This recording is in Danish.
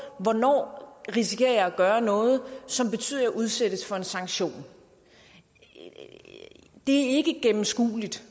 hvornår risikerer jeg at gøre noget som betyder at jeg udsættes for en sanktion det er ikke gennemskueligt